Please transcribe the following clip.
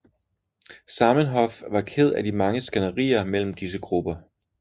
Zamenhof var ked af de mange skænderier mellem disse grupper